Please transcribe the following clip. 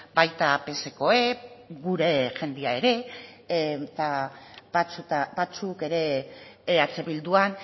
baita psekoek gure jendea ere eta batzuk ere eh bildun